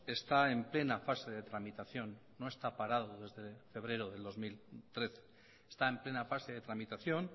está en plena fase de tramitación no está parado desde febrero del dos mil trece está en plena fase de tramitación